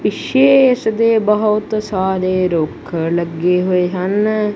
ਪਿੱਛੇ ਇਸਦੇ ਬਹੁਤ ਸਾਰੇ ਰੁੱਖ ਲੱਗੇ ਹੋਏ ਹਨ।